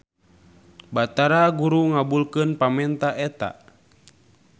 Batara Guru ngabulkan pamenta eta.